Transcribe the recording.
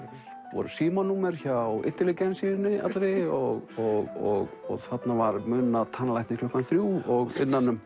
voru símanúmer hjá allri og muna tannlækni klukkan þrjú innan um